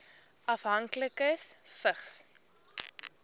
afhanklikes vigs